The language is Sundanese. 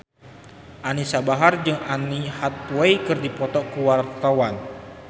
Anisa Bahar jeung Anne Hathaway keur dipoto ku wartawan